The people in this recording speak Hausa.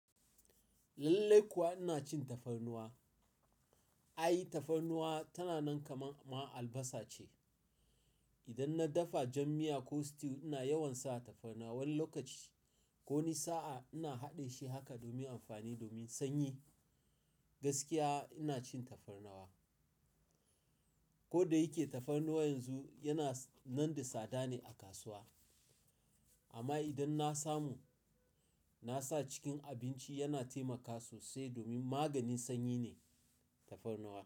Lallai kuwa ina cin tafarnuwa. Ai tafarnuwa tana nan kamar ma albasa ce. Idan na dafa jam miya ko stew ina yawan sa tafarnuwa. Wani lokaci ko wani sa'a ina haɗe shi haka domin amfani domin sanyi. Gaskiya ina cin tafarnuwa. Ko da yake tafarnuwa yanzu yana nan da sada ne a kasuwa amma idan na samu, na sa cikin abinci yana taimaka sosai domin maganin sanyi ne tafarnuwa.